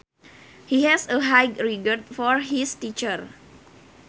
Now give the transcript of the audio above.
He has a high regard for his teacher